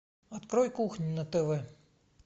открой кухню на тв